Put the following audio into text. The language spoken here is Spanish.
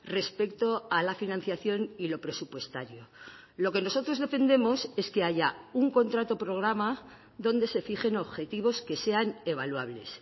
respecto a la financiación y lo presupuestario lo que nosotros defendemos es que haya un contrato programa donde se fijen objetivos que sean evaluables